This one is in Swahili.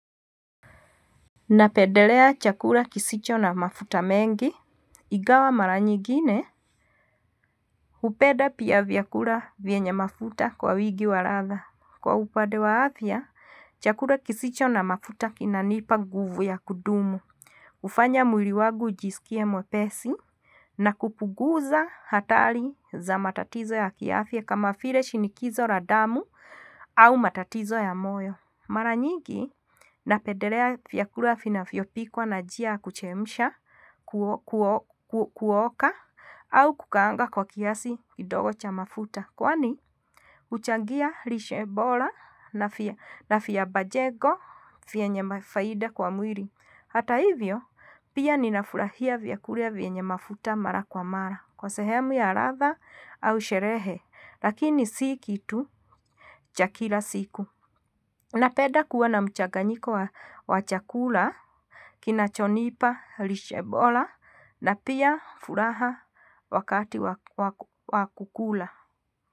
Napendelea chakula kisicho na mafuta mengi, ingawa mara nyingine, hupenda pia vyakula vyenye mafuta kwa wingi wa ladha. Kwa upande wa afya, chakula kisicho na mafuta kinanipa nguvu ya kudumu. Hufanya mwili wangu ujisikie mwepesi, na kupunguza hatari za matatizo ya kiafya kama vile shinikizo la damu au matatizo ya moyo. Mara nyingi napendelea vyakula vinavyopikwa na njia ya kuchemsha kuoka au kukaanga kwa kiasi kidogo cha mafuta. Kwani, huchangia lishe bora na afya bajego vyenye faida kwa mwili. Hata hivyo, pia ninafurahia vyakula vyenye mafuta mara kwa mara. Kwa sehemu ya ladha au sherehe. Lakini si kitu cha kila siku. Napenda kuwa na mchanganyiko wa chakula, kinacho nipa, lishe bora, na pia furaha wakati wa kukula.